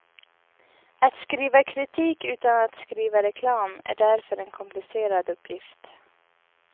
Att skriva kritik utan att skriva reklam är därför en komplicerad uppgift.